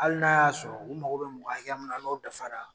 Hali n'a y'a sɔrɔ u mago bɛ mɔgɔ hakɛ min n'o dafara